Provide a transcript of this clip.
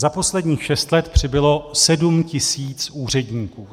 Za posledních šest let přibylo 7 tisíc úředníků.